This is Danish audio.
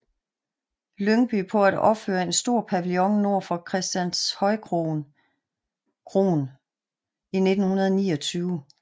Lyngby på at opføre en stor pavillon nord for Christianshøjkroen i 1929